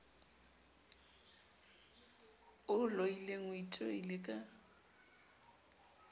o loileng o itoile ka